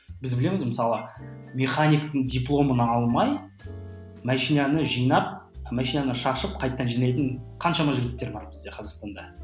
біз білеміз мысалы механиктің дипломын алмай машинаны жинап машинаны шашып қайтадан жинайтын қаншама жігіттер бар бізде қазақстанда